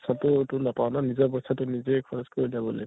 ছাতো এইটো নাপাওঁ ন নিজৰ পইছাটো নিজে খৰচ কৰি